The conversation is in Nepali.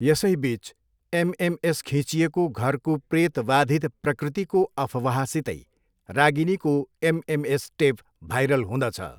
यसैबिच एमएमएस खिँचिएको घरको प्रेतवाधित प्रकृतिको अफवाहसितै रागिनीको एमएमएस टेप भाइरल हुँदछ।